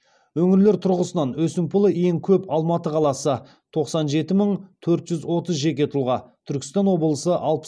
өңірлер тұрғысынан өсімпұлы ең көп алматы қаласы тоқсан жеті мың төрт жүз отыз жеке тұлға түркістан облысы